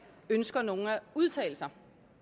ønsker nogen at udtale sig